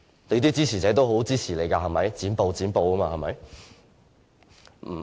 你的支持者也很支持你"剪布"，對嗎？